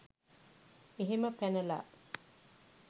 එහෙම පැනලා